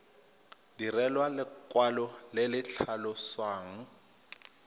direlwa lekwalo le le tlhalosang